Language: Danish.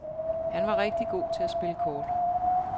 Han var rigtig god til at spille kort.